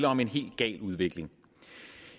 om en helt gal udvikling